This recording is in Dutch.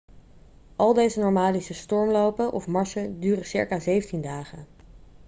al deze nomadische stormlopen of marsen duren circa 17 dagen